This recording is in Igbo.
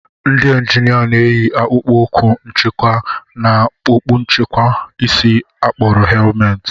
Ndị njinia na-eyi akpụkpọ ụkwụ nchekwa na okpu nchekwa isi a kpọrọ helmet